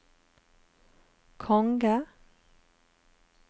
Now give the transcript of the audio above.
konge